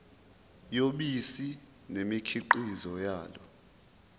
yobisi nemikhiqizo yalo